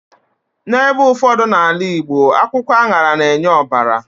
N'ebe ụfọdụ n'ala Igbo, akwụkwọ aṅara na-enye ọbara